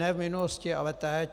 Ne v minulosti, ale teď.